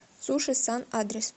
суши сан адрес